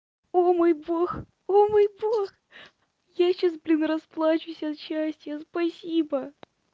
о мой бог о мой бог я сейчас блин расплачусь от счастья спасибо